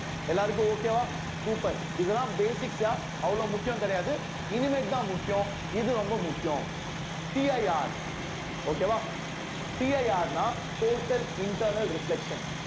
எல்லாருக்கும் okay வா super இதெல்லாம் basic அவ்வளோ முக்கியம் கிடையாது இனிமேட்தான் முக்கியம் இது ரொம்ப முக்கியம் CIRokay வா CIR ன்னா total internal reflection